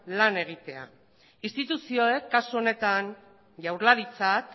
lan egitea instituzioek kasu honetan jaurlaritzak